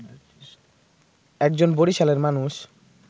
একজন বরিশালের মানুষ